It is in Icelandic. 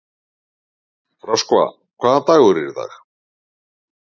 Röskva, hvaða dagur er í dag?